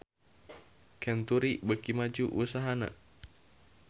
Century beuki maju usahana